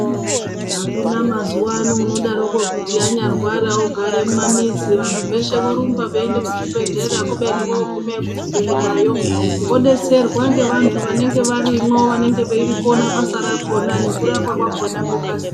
Akuna mazuwano unoti anyarwara ogare mumamizi antu eshe orumba eienda kuzvibhedhlera kubeni voguma kuzvibhedhlerayo vodetserwa nevantu vanenge varimwo vanenge veirikona basa rakona nekurapwa kwakona kwokasira.